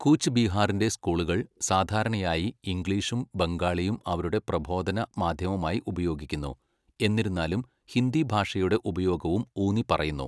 കൂച്ച് ബിഹാറിന്റെ സ്കൂളുകൾ സാധാരണയായി ഇംഗ്ലീഷും ബംഗാളിയും അവരുടെ പ്രബോധന മാധ്യമമായി ഉപയോഗിക്കുന്നു, എന്നിരുന്നാലും ഹിന്ദി ഭാഷയുടെ ഉപയോഗവും ഊന്നിപ്പറയുന്നു.